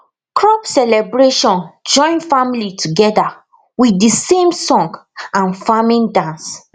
crop celebration join family together with the same song and farming dance